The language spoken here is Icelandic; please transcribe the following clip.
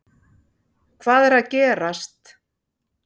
Hvað er að gerast